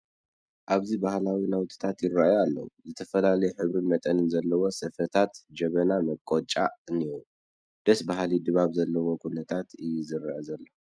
ኣብዚ ባህላዊ ናውትታት ይርአዩ ኣለዉ፡፡ ዝስተፈላለየ ሕብርን መጠንን ዘለዎም ስፈታት፣ ጀበና፣ መቖጫ እኔዉ፡፡ ደስ በሃሊ ድባብ ዘለዎ ኩነታት እዩ ዝርአ ዘሎ፡፡